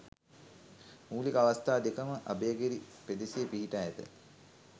මූලික අවස්ථා දෙකම අභයගිරි පෙදෙසේ පිහිටා ඇත.